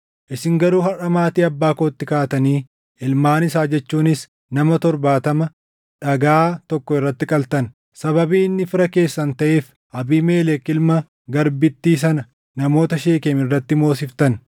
isin garuu harʼa maatii abbaa kootti kaatanii ilmaan isaa jechuunis nama torbaatama dhagaa tokko irratti qaltan; sababii inni fira keessan taʼeef Abiimelek ilma garbittii sana namoota Sheekem irratti moosiftan;